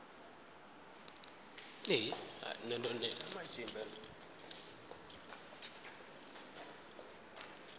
na zwine dzina la amba